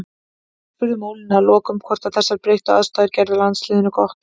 Við spurðum Ólínu að lokum hvort að þessar breyttu aðstæður gerðu landsliðinu gott.